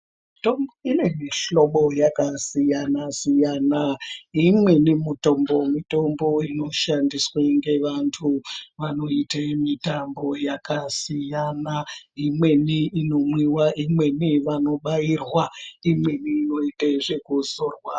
Mitombo ine zvihlobo yakasiyana siyana. Imweni mitombo, mitombo inoshandiswa ngevantu vanoita mitambo yakasiyana imweni inomwiwa, imweni vanobairwa, imweni yoita zvekuzorwa.